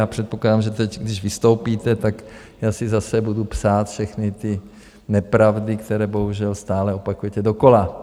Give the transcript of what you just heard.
Já předpokládám, že teď, když vystoupíte, tak já si zase budu psát všechny ty nepravdy, které bohužel stále opakujete dokola.